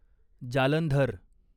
Jalandhar